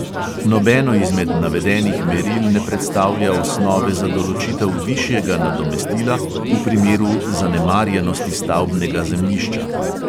Nobeno izmed navedenih meril ne predstavlja osnove za določitev višjega nadomestila v primeru zanemarjenosti stavbnega zemljišča.